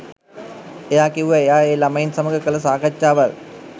එයා කිව්වා එයා ඒ ළමයින් සමග කළ සාකච්ඡාවල්